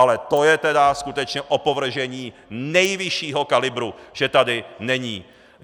Ale to je tedy skutečně opovržení nejvyššího kalibru, že tady není!